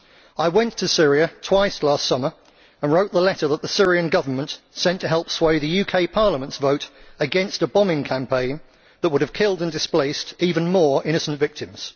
I went to Syria twice last summer and wrote the letter that the Syrian Government sent to help sway the UK Parliament's vote against a bombing campaign that would have killed and displaced even more innocent victims.